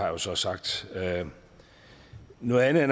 jo så sagt noget andet er